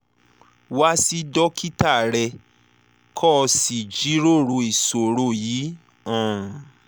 wá sí dókítà rẹ kó o sì jíròrò ìṣòro yìí um